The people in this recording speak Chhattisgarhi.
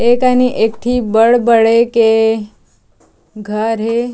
ए कनि एक ठी बड़ बड़े के घर हे।